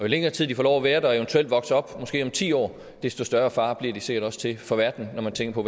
længere tid de får lov at være der og vokser op måske om ti år desto større fare bliver de sikkert også for verden når man tænker